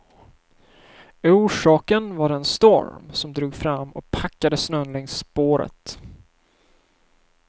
Orsaken var den storm som drog fram och packade snön längs spåret.